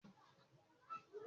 Kèké jẹ́ ohun èlò ìkọ́lé